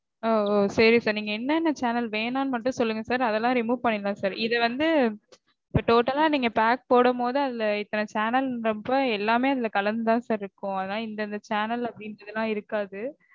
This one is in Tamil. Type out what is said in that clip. ஓ சரி sir. நீங்க என்னென்ன channel வேணானு மட்டும் சொல்லுங்க sir. அதெல்லாம் remove பண்ணிரலாம் sir. இது வந்து total லா நீங்க pack போடும்போது அதுல இத்தன channel ன்றப்போ எல்லாமே கலந்துதா sir இருக்கும். அதனால இந்தந்த channel அப்படீங்கறதெல்லாம் இருக்காது